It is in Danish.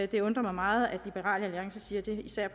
det undrer mig meget at liberal alliance siger det især